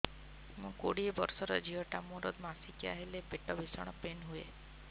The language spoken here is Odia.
ମୁ କୋଡ଼ିଏ ବର୍ଷର ଝିଅ ଟା ମୋର ମାସିକିଆ ହେଲେ ପେଟ ଭୀଷଣ ପେନ ହୁଏ